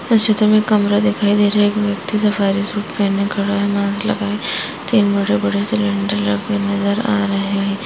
इस चित्र में एक कमरा दिखाई दे रहा है एक व्यक्ति सफारी सूट पहने खड़ा है मास्क लगाए तीन बड़े-बड़े सिलेंडर रखे नजर आ रहे हैं।